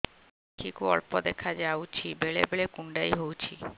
ଆଖି କୁ ଅଳ୍ପ ଦେଖା ଯାଉଛି ବେଳେ ବେଳେ କୁଣ୍ଡାଇ ହଉଛି